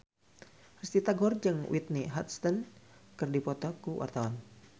Risty Tagor jeung Whitney Houston keur dipoto ku wartawan